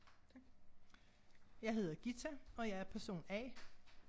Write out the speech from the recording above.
Tak. Jeg hedder Ghita og jeg er person A